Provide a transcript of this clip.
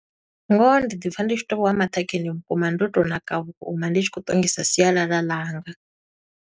Ngoho ndi ḓi pfa ndi tshi to vha wa maṱhakheni vhukuma, ndo to ṋaka vhukuma. Ndi tshi khou ṱongisa sialala ḽanga.